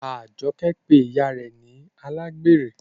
Ajoke pe ìyá rẹ ni alágbèrè.